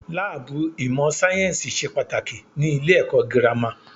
Láàbù ìmọ̀ sáyẹ́nsì ṣe pàtàkì ní ilé ẹ̀kọ́ gírámà.